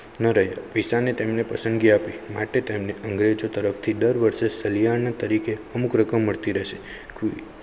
તેને પસંદગી આપી માટે તેને અંગ્રેજો તરફથી દર વર્ષે સલિયાના તરીકે અમુક રકમ મળતી રહેશે.